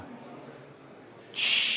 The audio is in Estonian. Tšš!